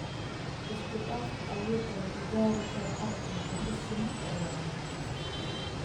Isku-dhafka (awoodda lagu gaari karo ardayda si siman oo waara)